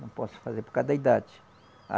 Não posso fazer por causa da idade. A